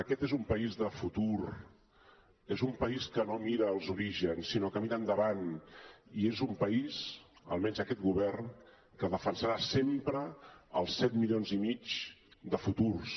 aquest és un país de futur és un país que no mira els orígens sinó que mira endavant i és un país almenys aquest govern que defensarà sempre els set milions i mig de futurs